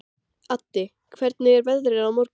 Addi, hvernig er veðrið á morgun?